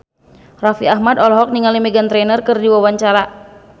Raffi Ahmad olohok ningali Meghan Trainor keur diwawancara